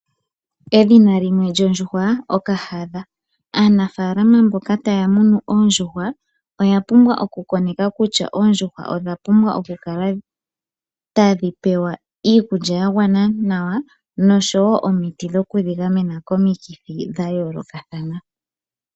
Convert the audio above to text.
Edhina limwe lyondjuhwa Okahadha. Aanafaalama mboka ta ya munu oondjuhwa oya pumbwa oku koneka kutya oondjuhwa odha pumbwa oku kala tadhi pewa iikulya ya gwana nawa noshoowoo omiti dhokudhi gamena komikithi dha yoolokathana.